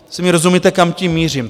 Asi mi rozumíte, kam tím mířím.